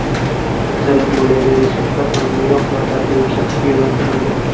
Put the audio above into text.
Aksariyat moliyaviy resurslar pandemiya oqibatlarini yumshatishga yo‘naltirildi.